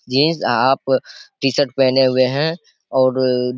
Jeans half T-shirt पहने हुए है।